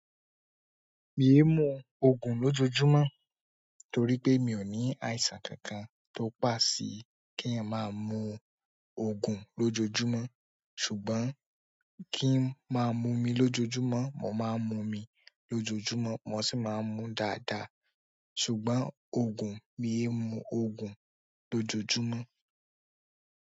Mii mú oògùn lójojúmọ́ torí pé mi ò ní àìsàn kankan tó pàṣe kí n máa mú oògùn lójojúmọ́ ṣùgbọ́n kí n máa mú mí lójojúmọ́, mo máa ń mú mí lójojúmọ́, mo sì máa ń mú dáadáa ṣùgbọ́n oògùn, mii mú oògùn lójojúmọ́.